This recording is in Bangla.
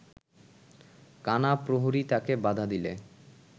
কানা প্রহরী তাঁকে বাধা দিলে